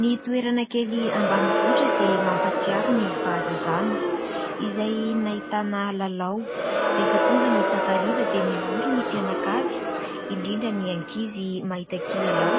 Ny toerana kely ambanivohitra dia mampatsiaro ny fahazazana, izay nahitana lalao. Rehefa tonga ny takariva dia mivory ny mpianakavy, indrindra ny ankizy mahita kilalao